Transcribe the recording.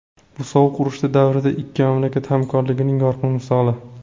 Bu sovuq urush davrida ikki mamlakat hamkorligining yorqin misoli.